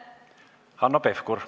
Hanno Pevkur.